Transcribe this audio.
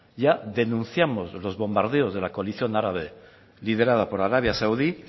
ya denunciamos los bombardeos de la coalición árabe liderada por arabia saudí